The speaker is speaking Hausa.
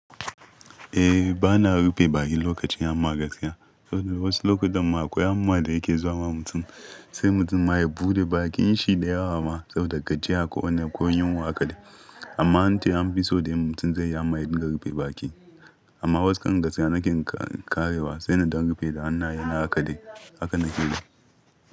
Eh, bana rufe baki lokacin, amma gaskiya saboda wasu lokutan ma akwai amma da yake zuwa ma mutum, sai mutum ma ya buɗe bakin shi da yawa ma saboda gajiya ko wane ko yinwa aka dai. Amma ante an fi so da mutum zai ama eh dinga rufe baki. Amma waskan gaskiya nake karewa, sai da zan rufe da hannaye na haka dai haka nake yi.